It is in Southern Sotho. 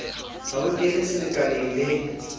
ha ho kenwe selekaneng le